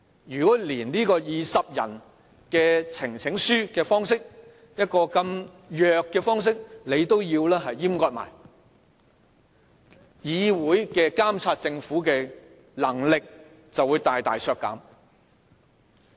如果連由20人提出，以呈請書的方式，這麼弱的方式，他們也要閹割，立法會監察政府的能力便會大大削減。